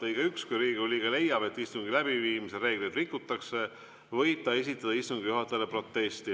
Lõige 1: "Kui Riigikogu liige leiab, et istungi läbiviimise reegleid rikutakse, võib ta esitada istungi juhatajale protesti.